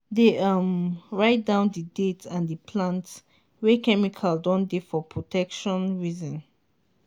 dey um write down the date and the plant wey chemical don dey for protection reason